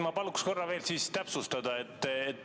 Ma paluks korra veel täpsustada.